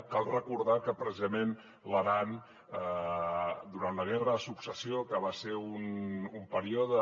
cal recordar que precisament l’aran durant la guerra de successió que va ser un període